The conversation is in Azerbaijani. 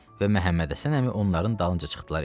və Məhəmmədhəsən əmi onların dalınca çıxdılar eşiyə.